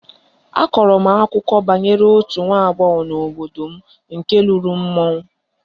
A kọrọ m akụkọ banyere otu nwa agbọghọ nọ n'obodo m nke lụrụ mmụọ